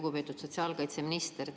Lugupeetud sotsiaalkaitseminister!